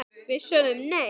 Við sögðum nei!